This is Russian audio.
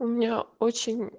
у меня очень